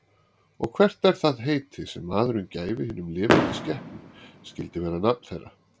Og hvert það heiti, sem maðurinn gæfi hinum lifandi skepnum, skyldi vera nafn þeirra.